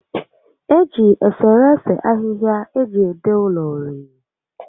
Eji eserese ahịhịa eji ede ụlọ uri